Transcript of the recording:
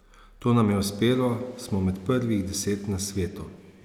To nam je uspelo, smo med prvih deset na svetu.